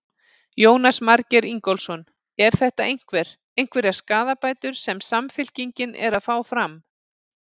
Jónas Margeir Ingólfsson: Er þetta einhver, einhverjar skaðabætur sem Samfylkingin er að fá fram?